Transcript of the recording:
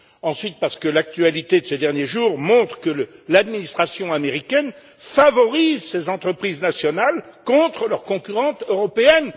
ensuite, parce que l'actualité de ces derniers jours montre que l'administration américaine favorise ses entreprises nationales contre leurs concurrentes européennes.